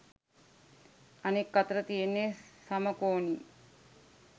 අනෙක් අතට තියෙන්නෙ සමකෝණී